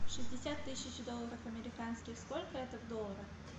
шестьдесят тысяч долларов американских сколько это в долларах